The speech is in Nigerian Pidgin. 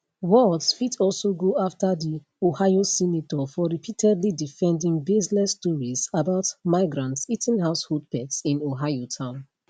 walz fit also go afta di ohio senator for repeatedly defending baseless stories about migrants eating household pets in ohio town